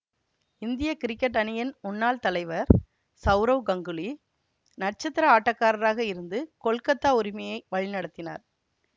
இந்திய கிரிக்கெட் அணியின் முன்னாள் தலைவர் சவுரவ் கங்கூலி நட்சத்திர ஆட்டக்காரராக இருந்து கொல்கத்தா உரிமையை வழிநடத்தினார்